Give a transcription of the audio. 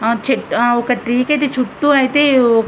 ఆ చెట్లు ఒక ట్రీ ఐతే చుటూ ఐతే--